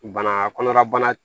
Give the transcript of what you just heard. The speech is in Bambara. Bana kɔnɔna bana